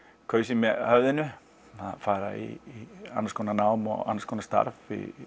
kaus ég með höfðinu að fara í annars konar nám og annars konar starf